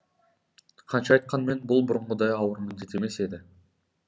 қанша айтқанмен бұл бұрынғыдай ауыр міндет емес еді